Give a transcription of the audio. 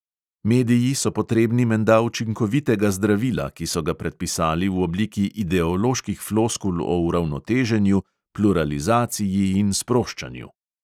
Mediji so potrebni menda učinkovitega zdravila, ki so ga predpisali v obliki ideoloških floskul o uravnoteženju, pluralizaciji in sproščanju.